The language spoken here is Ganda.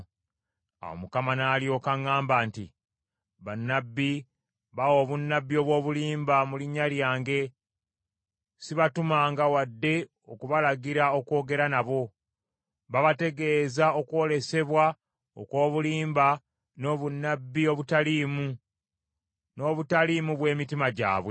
Awo Mukama n’alyoka aŋŋamba nti, “Bannabbi bawa obunnabbi obw’obulimba mu linnya lyange, sibatumanga wadde okubalagira okwogera nabo. Babategeeza okwolesebwa okw’obulimba n’obunnabbi obutaliimu, n’obutaliimu bw’emitima gyabwe.